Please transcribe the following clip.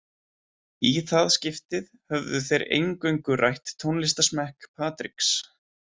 Í það skiptið höfðu þeir eingöngu rætt tónlistarsmekk Patriks.